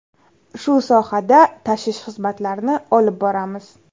Shu sohada tashish xizmatlarini olib boramiz.